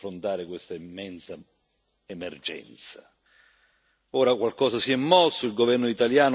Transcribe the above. Ora qualcosa si è mosso il governo italiano ha assunto una forte iniziativa politica